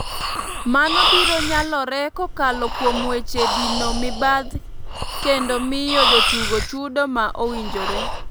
Mano biro nyalore kokalo kuom weche dino mibadh kendo miyo jotugo chudo ma owinjore.